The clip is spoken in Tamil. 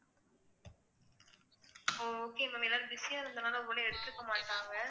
ஓ okay ma'am எல்லாரும் busy ஆ இருந்ததனால ஒரு வேளை எடுத்திருக்க மாட்டாங்க